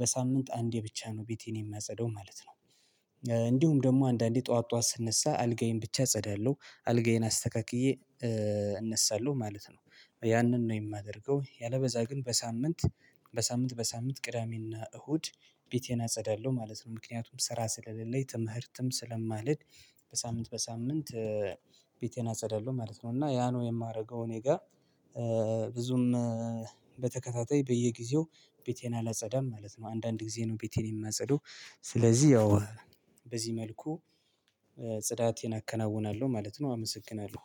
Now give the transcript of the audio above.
በሳምንት አንዴ ብቻ ነው ቤቴን የማጸደው ማለት ነው። እንዲሁም ደግሞ አንዳንዴ ጠዋት ጠዋት ስነሳ አልጋዬን ብቻ እጸዳለሁ አልጋዬን አስተካክዬ እነሳለሁ ማለት ነው። ያንን ነው የማደርገው ያለበዛ ግን በሳምንት በሳምንት በሳምንት ቅዳሜና እሁድ ቤቴን አጸዳለሁ ማለት ነው ምክንያቱም ስራ ስለሌለኝ ትምህርትም ስለማልሄድ በሳምንት በሳምንት ቤቴን አጸዳለሁ ማለት ነው። እና ያ ነው የማደርገው እኔ ጋር ብዙም በየጊዜው ቤቴን አላጸዳም ማለት ነው። አንዳንድ ጊዜ ነው ቤቴን የማጸድበው ስለዚህ ያው በዚህ መልኩ ጽዳቴን አከናውናለሁ ማለት ነው። አመሰግናለሁ